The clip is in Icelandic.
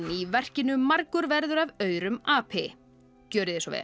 í verkinu margur verður af aurum api gjörið þið svo vel